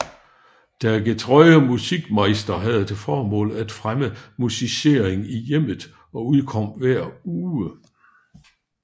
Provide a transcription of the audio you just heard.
Der getreue Musikmeister havde til formål at fremme musicering i hjemmet og udkom hver anden uge